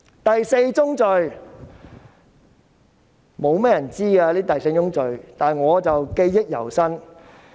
第四宗罪。雖然不多人知悉，但我記憶猶新。